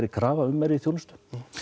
krafa um meiri þjónustu